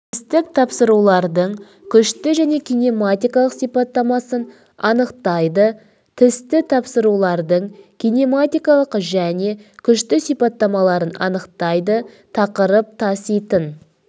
тістік тапсырулардың күшті және кинематикалық сипаттамасын анықтайды тісті тапсырулардың кинематикалық және күшті сипаттамаларын анықтайды тақырып таситын